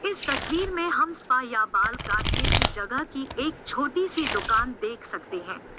इस तस्वीर में हम स्पा या बाल काटने की जगह की एक छोटी सी दुकान देख सकते हैं।